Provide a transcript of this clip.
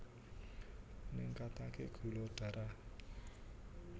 Ningkataké gula darah